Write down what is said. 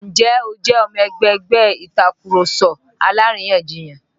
Ǹjẹ́ o jẹ́ ọmọ ẹgbẹ́ ẹgbẹ́ Ìtàkurọ̀sọ alárìyanjiyàn?